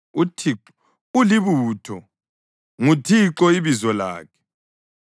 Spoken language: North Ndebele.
UThixo ulibutho; nguThixo ibizo lakhe.